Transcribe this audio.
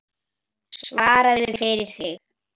Svaraðu fyrir þig!